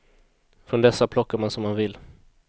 Från dessa plockar man som man vill.